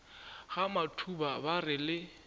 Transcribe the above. ga matuba ba re le